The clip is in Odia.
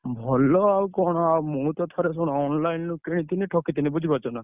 ଭଲ ଆଉ କଣ ଆଉ ମୁଁ ତ ଥରେ ଶୁଣ online ରୁ କିଣିଥିଲି ଠକିଥିଲି ବୁଝିପାରୁଛ ନା।